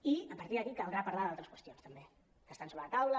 i a partir d’aquí caldrà parlar d’al·tres qüestions també que estan sobre la taula